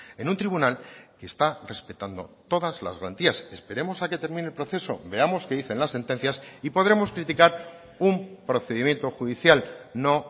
en un tribunal que está respetando todas las garantías esperemos a que termine el proceso veamos qué dicen las sentencias y podremos criticar un procedimiento judicial no